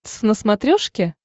твз на смотрешке